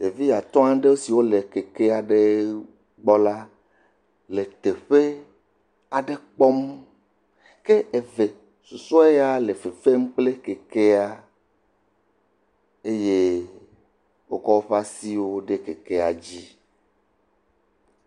Ɖevi atɔ̃ aɖe siwo le keke aɖe gbɔ la le teƒe aɖe gbɔ kpɔm, ke ɖevi eve susue ya le fe fem kple keke la eye wokɔ woƒe asiwo ɖe keke la dzi.